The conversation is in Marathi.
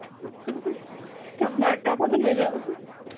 नाही त्यापासून वेगळं.